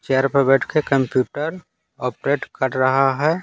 Chair पर बैठ के कंप्यूटर ऑपरेट कर रहा है।